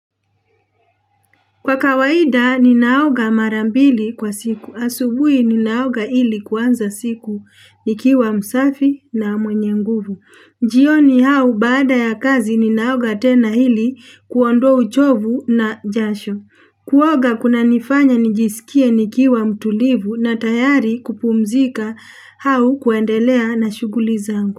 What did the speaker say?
Kwa kawaida ninaoga mara mbili kwa siku. Asubuhi ninaoga ili kuanza siku nikiwa msafi na mwenye nguvu. Jioni au baada ya kazi ninaoga tena hili kuondoa uchovu na jasho. Kuoga kuna nifanya nijisikie nikiwa mtulivu na tayari kupumzika au kuendelea na shughuli zangu.